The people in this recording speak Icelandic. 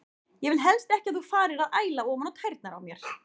Ég vil helst ekki að þú farir að æla ofan á tærnar á mér.